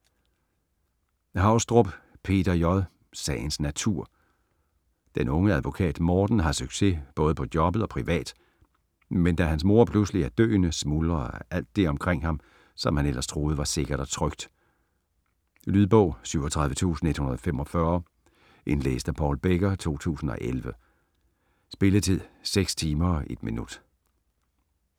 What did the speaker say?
Haugstrup, Peter J.: Sagens natur Den unge advokat Morten har succes både på jobbet og privat, men da hans mor pludselig er døende, smuldrer alt det omkring ham, som han ellers troede var sikkert og trygt. Lydbog 37145 Indlæst af Paul Becker, 2011. Spilletid: 6 timer, 1 minutter.